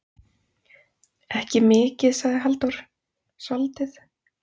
Ekki mikið, sagði Halldór, soldið.